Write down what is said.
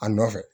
A nɔfɛ